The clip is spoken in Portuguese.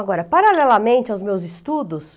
Agora, paralelamente aos meus estudos,